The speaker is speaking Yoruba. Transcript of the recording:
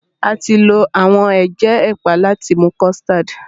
A ti lo awọn ege ẹpa láti mú custard